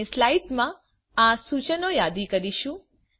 આપણે સ્લાઇડ્સમાં આ સૂચનો યાદી મુકીશું